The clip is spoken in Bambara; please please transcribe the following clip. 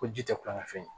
Ko ji tɛ kulonkɛ fɛn ye